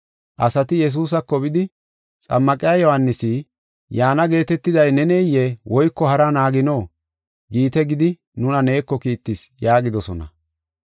Asati “Yesuusako bidi, Xammaqiya Yohaanisi, ‘Yaana geetetiday neneyee? Woyko haraa naagino?’ giite gidi nuna neeko kiittis” yaagidosona.